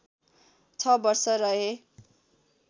६ वर्ष रहे